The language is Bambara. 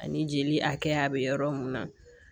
Ani jeli hakɛya be yɔrɔ mun na